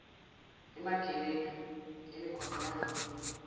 emagebedu emigwaqo yangakubo